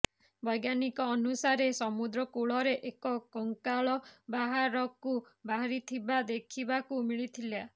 ବୈଜ୍ଞାନିକଙ୍କ ଅନୁସାରେ ସମୁଦ୍ର କୂଳରେ ଏକ କଙ୍କାଳ ବାହାରକୁ ବାହାରିଥିବା ଦେଖିବାକୁ ମିଳିଥିଲା